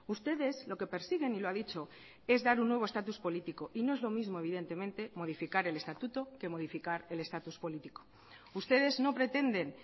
ustedes lo que persiguen y lo ha dicho es dar un nuevo estatus político y no es lo mismo evidentemente modificar el estatuto que modificar el estatus político ustedes no pretenden